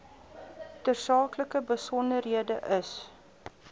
tersaaklike besonderhede is